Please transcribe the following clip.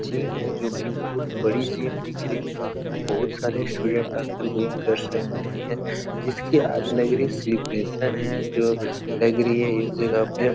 gym है जोकि बहुत बड़ी जिम दिख रही है यहाँ पे बहुत सारे स्टूडेंट आकर जिम कर सकते हैं जिसकी आज लग रही है सेलिब्रेशन है जो लग रही है इस जगह पे |